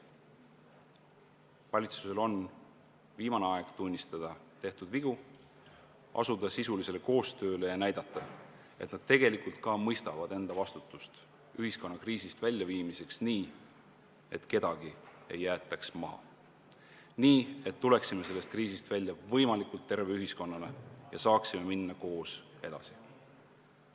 Valitsusel on viimane aeg tunnistada tehtud vigu, asuda sisulisele koostööle ja näidata, et nad tegelikult ka mõistavad enda vastutust ühiskonna kriisist väljaviimiseks, nii et kedagi ei jäetaks maha ning me tuleksime sellest kriisist välja võimalikult terve ühiskonnana ja saaksime minna koos edasi.